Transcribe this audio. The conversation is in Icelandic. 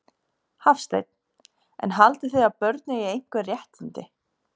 Hafsteinn: En haldið þið að börn eigi einhver réttindi?